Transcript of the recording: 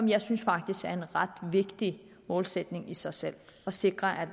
jeg synes faktisk det er en vigtig målsætning i sig selv at sikre at